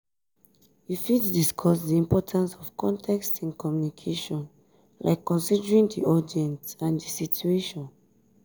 you fit discuss di importance of context in communication like considering di audience and di situation.